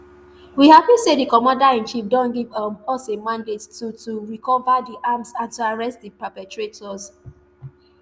we happy say di commander in chief don give um us a mandate to to recova di arms and to arrest di perpetrators